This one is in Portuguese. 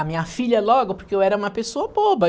A minha filha logo, porque eu era uma pessoa boba.